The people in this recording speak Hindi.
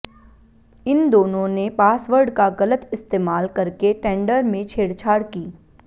इन दोनों ने पासवर्ड का गलत इस्तेमाल करके टेंडर में छेड़छाड़ की